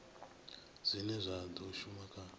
zwine zwa do shuma kha